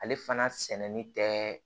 Ale fana sɛnɛni tɛ